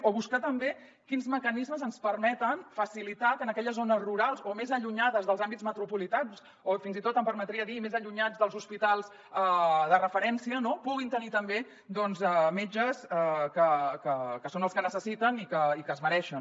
o buscar també quins mecanismes ens permeten facilitar que en aquelles zones rurals o més allunyades dels àmbits metropolitans o fins i tot em permetria dir més allunyades dels hospitals de referència no puguin tenir també metges que són els que necessiten i que es mereixen